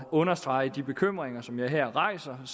understrege de bekymringer som jeg her rejser er